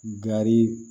Gari